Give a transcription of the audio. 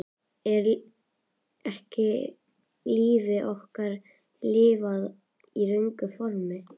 Er ekki lífi okkar lifað í röngu formi?